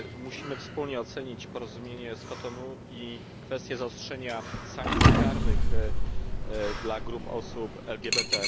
Musimy wspólnie ocenić porozumienie z Kotonu i kwestie zaostrzenia sankcji karnych dla grup osób LGBT.